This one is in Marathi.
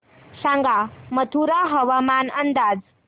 सांगा मथुरा हवामान अंदाज